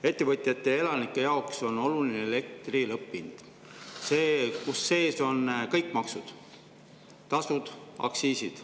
Ettevõtjate ja elanike jaoks on oluline elektri lõpphind, kus sees on kõik maksud, tasud, aktsiisid.